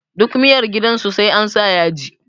Duk miyar gidan su sai ansa yaji